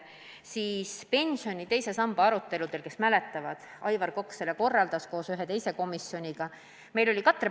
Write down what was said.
Te ehk mäletate, et pensioni teise samba aruteludel Aivar Kokk korraldas koos ühe teise komisjoniga avaliku diskussiooni.